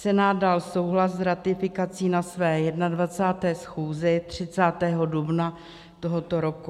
Senát dal souhlas s ratifikací na své 21. schůzi 30. dubna tohoto roku.